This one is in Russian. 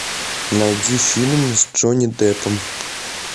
найди фильм с джонни деппом